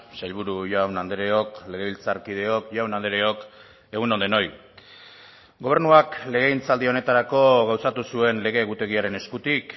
sailburu jaun andreok legebiltzarkideok jaun andreok egunon denoi gobernuak legegintzaldi honetarako gauzatu zuen lege egutegiaren eskutik